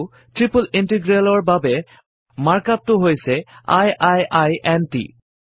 আৰু ট্ৰিপল ইন্টিগ্ৰেলৰ বাবে মাৰ্ক up টো হৈছে 160i i i n ট